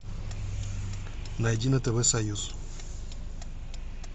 найди на тв союз